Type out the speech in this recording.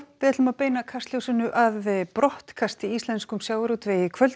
við ætlum að beina Kastljósinu að brottkasti í íslenskum sjávarútvegi í kvöld